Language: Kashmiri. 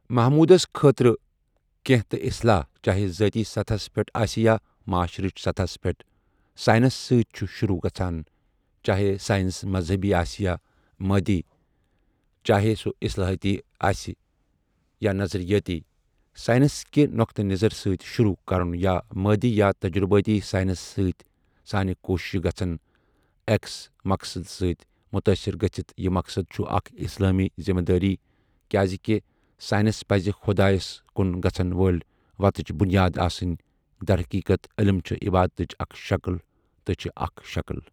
محمودس خٲطرٕہ کنٛہہ تہٕ اصلاح چاہے ذأتی سطحس پؠٹھ آسہ یا معاشرچ سطحس پؠٹھ سائنس سٲتۍ چھ شۆروٗع گژھان چاہے سائنس مذہبی آسہ یا مادی چاہے سُہ اصلاحاتی آسہ یا نظریٲتی سائنس کہ نقطہ نظر سۭتۍ شۆروٗع کرن یا مادی یا تجرباتی سائنس سۭتۍ سانہ کوششہٕ گژھن ایکس مقصدس سۭتۍ متٲثر گژھتھ یہٕ مقصد چھ اَکھ اسلامی ذمہ دأری کیاز کہ سائنس پز خدایس کن گژھن وألۍ وتھٕچ بنیاد آسن درحقیقت علم چھ عبادتٕچ اَکھ شکل تہٕ چھ اَکھ شکل۔